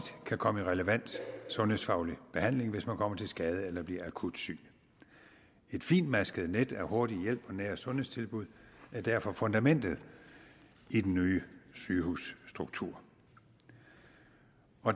kan komme i relevant sundhedsfaglig behandling hvis man kommer til skade eller bliver akut syg et fintmasket net af hurtig hjælp og nære sundhedstilbud er derfor fundamentet i den nye sygehusstruktur